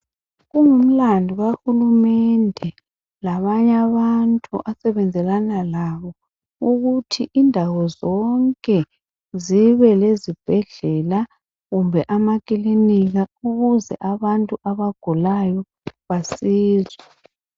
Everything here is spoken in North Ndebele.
Kungumlandu kahulumende labanye abantu osebenzisana labo ukuthi indawo zonke zibe lezibhedlela kumbe amakilinika ukuze abantu abagulayo bancedwe.